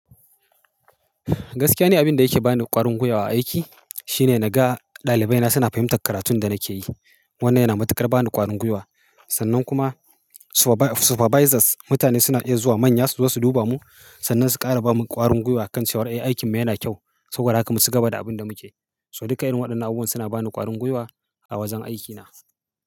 Gaskiya ne, abin da yake ba ni ƙwarin gwiwa a aiki shine na ga ɗalibai na suna fahimtar karatun da nake yi. Wannan yana matukar ba ni ƙwarin gwiwa. Sannan kuma supervisors, mutane suna iya zuwa manya su zo su duba mu sannan su ƙara ba mu ƙwarin gwiwa akan cewa "Ai, aikin ma yana kyau." Saboda haka mu ci gaba da abin da muke. So duka irin waɗannan abubuwa suna ba ni ƙwarin gwiwa a wajen aikina.